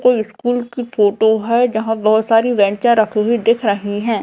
कोई स्कूल की फोटो है जहां बहोत सारी बेंचा रखी हुई दिख रही हैं।